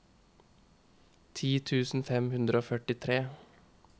ti tusen fem hundre og førtitre